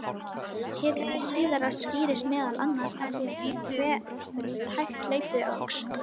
Hið síðara skýrist meðal annars af því hve hægt hlaupið óx.